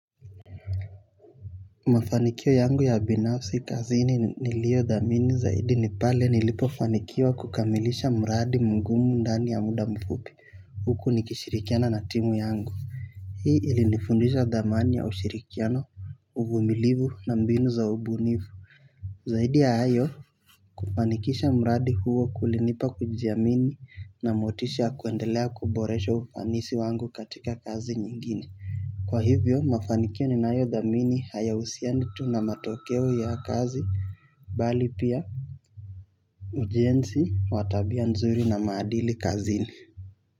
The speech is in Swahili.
Mafanikio yangu ya binafsi kazini niliyo dhamini zaidi ni pale nilipo fanikiwa kukamilisha mradi mugumu ndani ya muda mfupi. Huku nikishirikiana na timu yangu hii ili nifundisha dhamani ya ushirikiano uvumilivu na mbinu za ubunifu. Zaidi ya hayo kufanikisha mradi huo kulinipa kujiamini na motisha kuendelea kuboresha ufanisi wangu katika kazi nyingine. Kwa hivyo mafanikio ninayo dhamini haya husiani tu na matokeo ya kazi bali pia ujenzi wa tabia nzuri na maadili kazini.